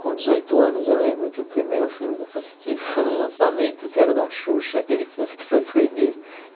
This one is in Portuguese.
Com dezoito anos, eu lembro que o primeiro filme que eu assisti foi um lançamento que era o da Xuxa, aquele filme que foi proibido.